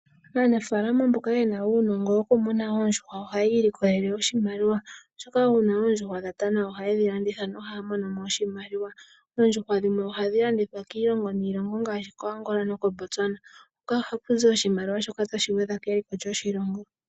Aanafaalama mboka yena uunongo woku muna oondjuhwa ohaya ilikolele iimaliwa. Oshoka ngele oondjuhwa odha tana oha yedhi landitha no haya imonene mo oshimaliwa. Oondjuhwa dhimwe ohadhi landithwa kiilongo niilongo ngaashi koAngola nokoBotswana. Ohaku zi oshimaliwa shoka tashi gwedha keliko lyoshilongo.